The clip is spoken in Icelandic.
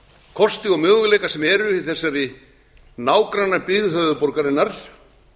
kosti og möguleika sem eru í þessari nágrannabyggð höfuðborgarinnar